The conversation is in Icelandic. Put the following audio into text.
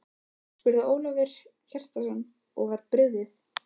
spurði Ólafur Hjaltason og var brugðið.